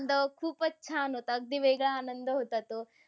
आनंद खूपच छान होता. अगदी वेगळा आनंद होता तो.